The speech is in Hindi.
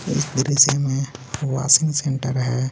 इस पूरे सीन में वाशिंग सेंटर हैं.